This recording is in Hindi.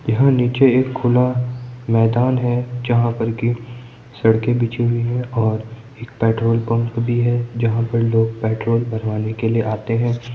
यहाॅं नीचे एक खुला मैदान है। जहाँ पर कि सड़के बिछी हुई हैं और एक पेट्रोल पम्प भी है जहाॅं पे लोग पेट्रोल भरवाने के लिए आते हैं।